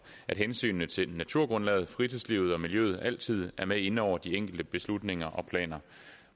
at hensynet til naturgrundlaget fritidslivet og miljøet altid er med inde over de enkelte beslutninger og planer